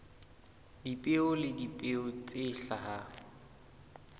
dipeo le dipeo tse hlahang